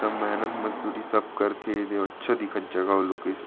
एकदम मेहनत मजदूरी सब करथे दे अच्छा दिखत हे जगह अउ लोकेशन --